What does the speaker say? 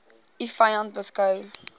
u vyand beskou